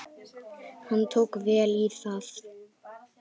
Hann tók vel í það.